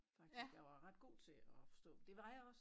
Faktisk jeg var ret god til at forstå det var jeg også